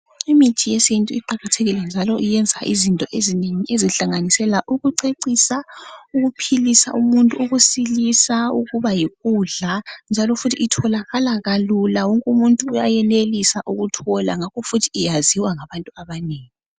Imithi yesintu iqakathekile njalo iyenza izinto ezinengi ezihlanganisela ukucecisa, ukuphilisa umuntu ukusilisa, ukuba yikudla njalo futhi itholakala kalula wonke umuntu uyayenelisa ukuthola ngakho futhi iyaziwa ngabantu abanengi.